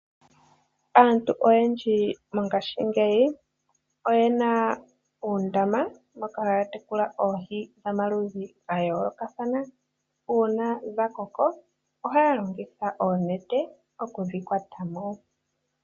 Aantu oyendji mongaashingeyi oyena uundama moka haya tekula oohi dhomaludhi gayoolokathana, uuna dhakoko ohaa longitha oonete okudhi kwata mo.